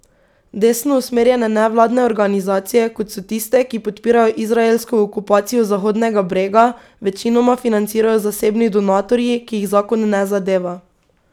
Desno usmerjene nevladne organizacije, kot so tiste, ki podpirajo izraelsko okupacijo Zahodnega brega, večinoma financirajo zasebni donatorji, ki jih zakon ne zadeva.